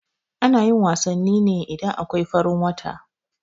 Anayin wasanni ne idan akwai farin wata